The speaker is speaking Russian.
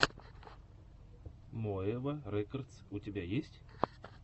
моэва рекодс у тебя есть